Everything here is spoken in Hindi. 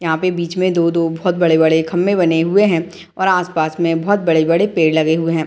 यहाँ पे बीच में दो-दो बहुत बड़े-बड़े खम्बे बने हुए है और आसपास में बहुत बड़े-बड़े पेड़ लगे हुए है।